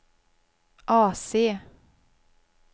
AC